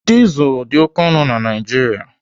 Dizel dị oké ọnụ na Naijiria.